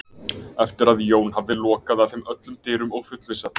Eftir að Jón hafði lokað að þeim öllum dyrum og fullvissað